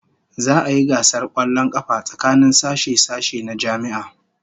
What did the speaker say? Za'a yi gasar kwallon kafa tsakanin sashe-sashe na jami'a